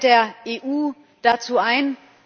Und was fällt der EU dazu ein?